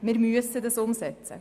Wir müssen ihn nun umsetzen.